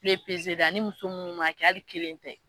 ye pezeli ani muso minnu ma kɛ hali kelen tɛ.